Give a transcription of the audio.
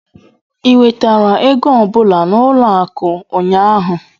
ị nwetara ego ọ bụla n'ụlọ akụ ụnyaahụ?